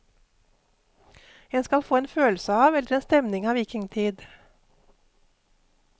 En skal få en følelse av, eller en stemning av vikingtid.